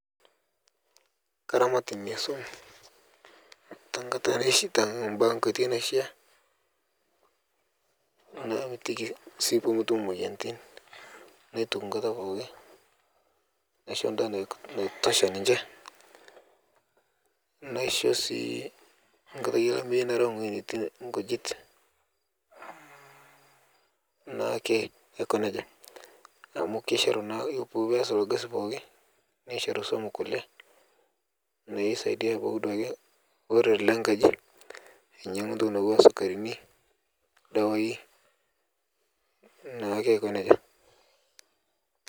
Karamat tenkoitoi naishaa namitiki sii metum emoyian naituku enkata pookin naisho endaa naitosha ninche naisho sii ore enkata olamei narew ewueji netii nkujit nisaidia iltung'ana lenkji ayaki sukarini neori naa Aiko nejia